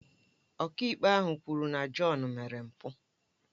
Ọkàikpe ahụ kwuru na John mere mpụ